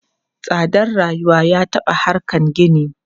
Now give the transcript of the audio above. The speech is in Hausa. Tsadar rayuwa ya taɓa harkan gini.